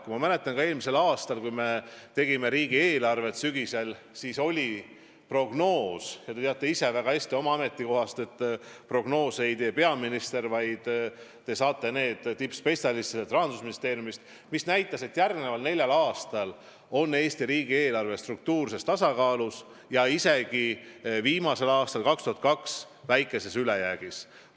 Ma mäletan, kui me eelmise aasta sügisel tegime riigieelarvet, siis oli prognoos – ja te teate oma ametiajast väga hästi, et prognoose ei tee peaminister, vaid need saadakse tippspetsialistidelt Rahandusministeeriumist –, mis näitas, et järgmisel neljal aastal on Eesti riigieelarve struktuurses tasakaalus ja viimasel aastal, 2022. aastal isegi väikeses ülejäägis.